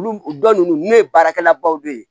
Olu dɔ ninnu ye baarakɛla baw de ye